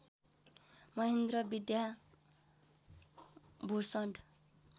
Mahendra Vidya Bhushan